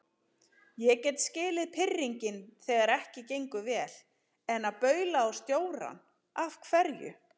Ég get skilið pirringinn þegar ekki gengur vel, en að baula á stjórann. af hverju?